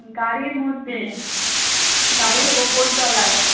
গাড়ির মধ্যে গাড়ির ওপর তলায়